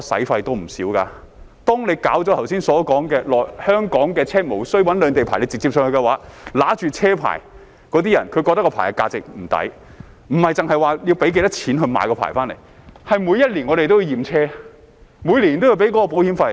倘若如剛才說，香港車輛可以無需兩地牌照而直接北上，持有那些車牌的人便會感到物非所值，不止是因為要用多少錢來申請牌照，而是他們每年都要驗車，每年都要繳交保險費。